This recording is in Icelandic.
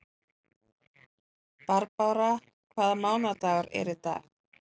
Barbára, hvaða mánaðardagur er í dag?